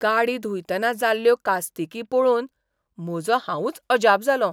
गाडी धुयतना जाल्ल्यो कास्तिकी पळोवन म्हजो हांवूंच अजाप जालों.